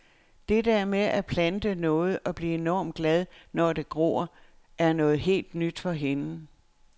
Det der med at plante noget og blive enormt glad, når det gror, er noget helt nyt for hende.